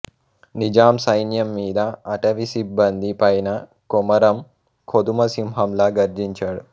నిజాం సైన్యంమీద అటవీ సిబ్బంది పైనా కొమరం కొదమసింహం లా గర్జించాడు